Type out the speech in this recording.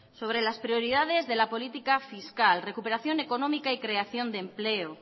sobre las prioridades de la política fiscal recuperación económica y creación de empleo